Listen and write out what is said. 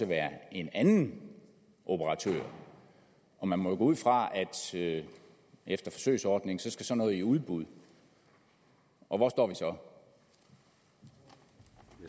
være en anden operatør man må jo gå ud fra at efter forsøgsordningen skal sådan noget i udbud og hvor står vi